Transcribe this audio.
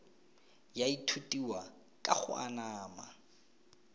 ya ithutiwa ka go anama